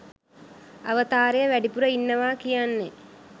අවතාරය වැඩිපුර ඉන්නවා කියන්නේ.